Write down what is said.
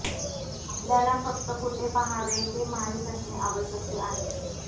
आपल्याला फक्त कुठे पाहावे ते माहित असणे आवश्यक आहे